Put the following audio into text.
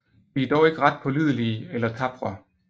De er dog ikke ret pålidelige eller tapre